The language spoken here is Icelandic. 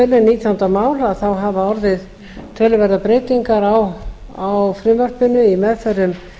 lága tölu nítjánda mál hafa orðið töluverðar breytingar á frumvarpinu í meðförum